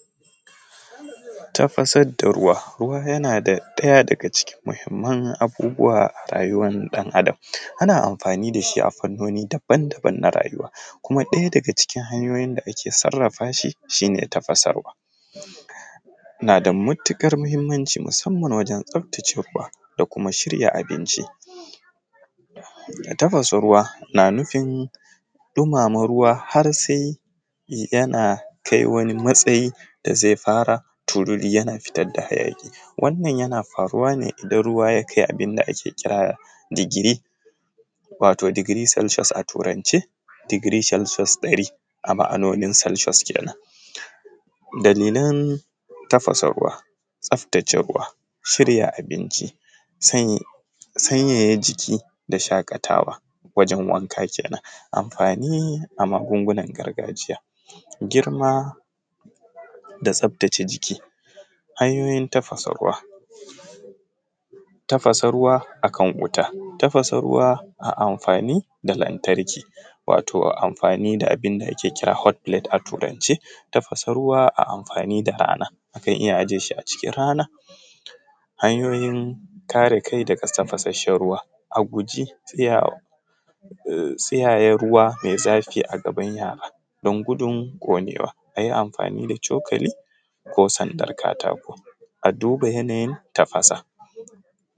Tafasar da ruwa, yana ɗaya daga cikin mahimman abubuwa a rayuwan ɗan adam ana amfani da shi a fannoni daban-daban na rayuwa, kuma ɗaya daga cikin hanyoyin da ake sarafa shi shi ne tafasa ruwa nada matukar muhimmanci musamman tsaftace ruwa ko kuma shirya abinci tafasa ruwa na nufin ɗumama ruwa har sai yana kai wani matsayi da zai fara turiri yana fitar da hayaki, wannan yana faruwa ne idan ruwa yakai abinda ake kira digiri wato degree celcius a turance digiri celcius ɗari kenan a ma’anonin celciuos kenan dalilan tafasa ruwa tsaftace ruwa shirya abinci sanyaya jiki da shakatawa wajen wanka kenan, amfani a magungunan gargajiya girma da tsaftace jiki hanyoyin tafasa ruwa, tafasa ruwa akan wuta tafasa ruwa ana amfani da lantarki wato ana amfani da abinda ake kira hot plate a turance tafasa ruwa ana amfani da rana akan iya ajiye shi arana hanyoyin kare kai daga tafasa, shan ruwa a guji tsiyaya ruwa mai zafi a gaban yara dan gudun ƙonewa, ayi amfani da cokali ko sandar katako a duba yanayin tafasa.